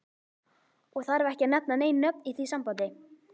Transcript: Og þarf ekki að nefna nein nöfn í því sambandi.